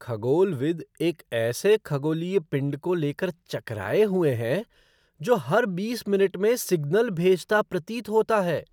खगोलविद एक ऐसे खगोलीय पिंड को लेकर चकराए हुए हैं जो हर बीस मिनट में सिग्नल भेजता प्रतीत होता है।